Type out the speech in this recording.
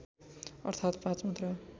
अर्थात् पाँच मात्र